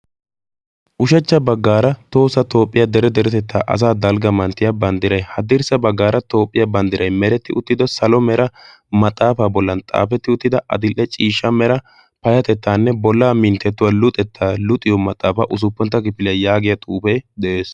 ushachcha baggaara toosa toophphiyaa dere deretettaa asaa dalgga manttiya banddiray haddirssa baggaara toophphiyaa banddiray meretti uttido salo mera maxaafaa bollan xaafetti uttida adil''e ciishsha mera payatettaanne bollaa minttettuwaa luuxettaa luxiyo maxaafaa usuppuntta kifiliya yaagiya xuufee de'ees